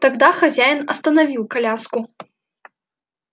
тогда хозяин остановил коляску